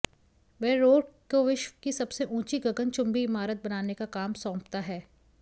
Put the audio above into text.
वह रोर्क को विश्व की सबसे ऊँची गगनचुम्बी इमारत बनाने का काम सौंपता है